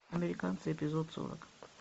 американцы эпизод сорок